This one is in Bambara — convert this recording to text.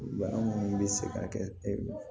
Bana munnu bɛ se ka kɛ e